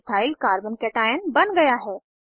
ethyl Carbo cationch3 च2 बन गया है